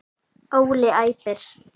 Óli æpir.